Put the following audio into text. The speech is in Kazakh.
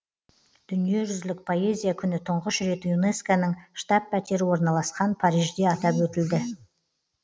дүниежүзілік поэзия күні тұңғыш рет юнеско ның штаб пәтері орналасқан парижде атап өтілді